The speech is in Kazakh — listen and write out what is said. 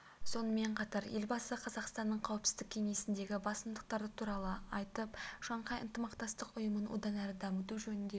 сонымен қатар елбасы қазақстанның қауіпсіздік кеңесіндегі басымдықтары туралы айтып шанхай ынтымақтастық ұйымын одан әрі дамыту жөнінде